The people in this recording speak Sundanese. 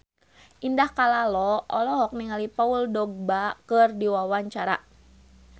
Indah Kalalo olohok ningali Paul Dogba keur diwawancara